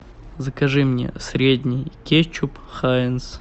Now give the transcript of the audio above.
закажи мне средний кетчуп хайнц